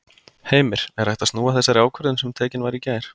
Heimir: Er hægt að snúa þessari ákvörðun sem tekin var í gær?